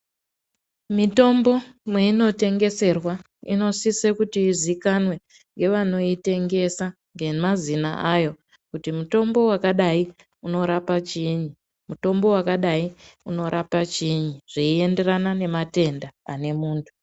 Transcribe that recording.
Mitombo mweinotengeserwa, inosise kuti iziikanwe ngevanoitengesa ngemazina ayo, kuti mutombo wakadai unorapa chiini, mutombo wakadai unorapa chiini, zveienderana nematenda ane muntu .